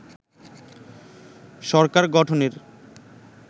সরকার গঠনের